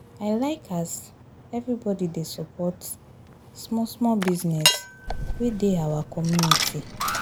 I like as everybodi dey support small-small business wey dey our community.